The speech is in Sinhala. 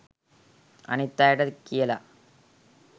අනිත් අයට කියලා